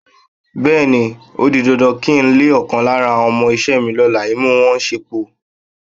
Bé̩è̩ni, ó di dandan kí ń le ò̩kan lára àwo̩n o̩mo̩-is̩é̩ mi ló̩la, imú wo̩n ò sépòó.